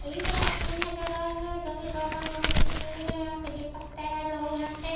ये जो तस्वीर नज़र आई है जो की पैट्रोल पंप की तस्वीर है यहाँ पे देख सकते है लोग यहाँ पे--